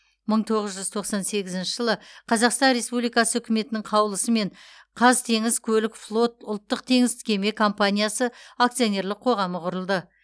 мың тоғыз жүұз тоқсан сегізінші жылы қазақстан республикасы үкіметінің қаулысымен қазтеңізкөлікфлот ұлттық теңіз кеме компаниясы акционерлік қоғамы құрылды